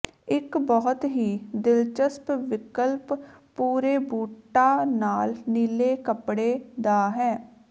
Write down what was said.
ਇੱਕ ਬਹੁਤ ਹੀ ਦਿਲਚਸਪ ਵਿਕਲਪ ਭੂਰੇ ਬੂਟਾਂ ਨਾਲ ਨੀਲੇ ਕੱਪੜੇ ਦਾ ਹੈ